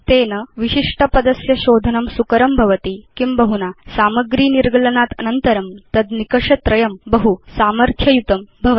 तस्मात् विशिष्ट पदस्य शोधनं सुकरं भवति किंबहुना सामग्री निर्गलनात् अनन्तरं तद् निकष त्रयं बहु सामर्थ्य युतं भवति